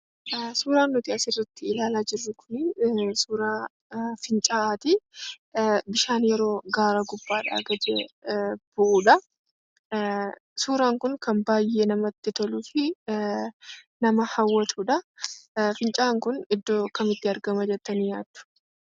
Suuraan nuti asirratti ilaalaa jirru kun suuraa fincaa'aati. Bishaan yeroo gaara gubbaadhaa gadi bu'udha. Suuraan kun kan baay'ee namatti toluu fi nama hawwatudha. Fincaa'aan kun iddoo kamitti argama jettanii yaaddu?